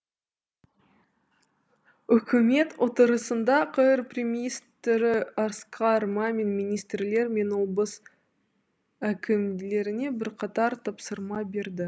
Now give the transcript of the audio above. үкімет отырысында қр премьер министрі асқар мамин министрлер мен облыс әкімдеріне бірқатар тапсырма берді